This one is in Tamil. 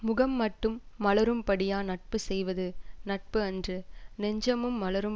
முகம் மட்டும் மலரும் படியா நட்பு செய்வது நட்பு அன்று நெஞ்சமும் மலரும்